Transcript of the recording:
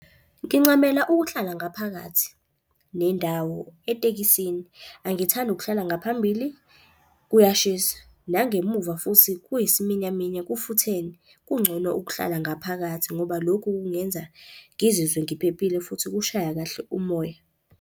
Ngincamela ukuhlala ngaphakathi nendawo etekisini. Angithandi ukuhlala ngaphambili kuyashisa, nangemuva futhi kuyisiminyaminya kufuthene. Kungcono ukuhlala ngaphakathi ngoba lokhu kungenza ngizizwe ngiphephile futhi kushaya kahle umoya.